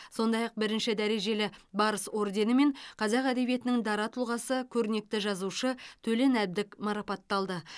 сондай ақ бірінші дәрежелі барыс орденімен қазақ әдебиетінің дара тұлғасы көрнекті жазушы төлен әбдік марапатталды